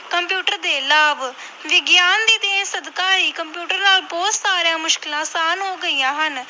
Computer ਦੇ ਲਾਭ, ਵਿਗਿਆਨ ਦੀ ਦੇਣ ਸਦਕਾ ਹੀ ਕੰਪਿਊਟਰ ਨਾਲ ਬਹੁਤ ਸਾਰੀਆਂ ਮੁਸ਼ਕਲਾਂ ਆਸਾਨ ਹੋ ਗਈਆਂ ਹਨ।